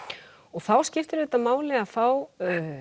og þá skiptir auðvitað máli að fá